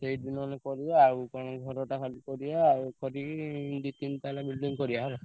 ସେଇଠି ନହେଲେ କରିବା ଆଉ କଣ ଘରଟା ଖାଲି କରିବା ଆଉ କରିବି ଦି ତିନି ତାଲା building କରିବା ହେଲା।